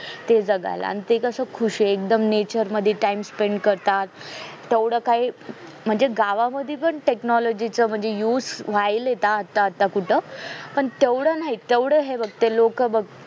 ते जगायला आणि ते कस खुश आहे एकदम nature मध्ये time spend करतात तेवढ काही म्हणजे गावामध्ये पण technology चे used व्हायलेत आता आता कुठे पन तेवढे नाही तेवढे हे बग ते लोक बग